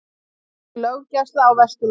Veikari löggæsla á Vesturlandi